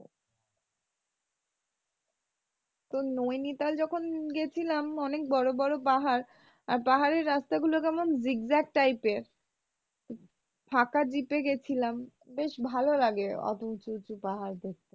তো নৈনিতাল যখন গেছিলাম অনেক বড় বড় পাহাড় আর পাহাড়ের রাস্তা গুলো কেমন zig zag type এর ফাঁকা দ্বিপে গেছিলাম বেশ ভালো লাগে অতো উঁচু উঁচু পাহাড় দেখতে।